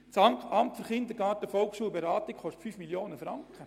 Das Amt für Kindergarten, Volksschule und Beratung (AKVB) kostet 5 Mio. Franken.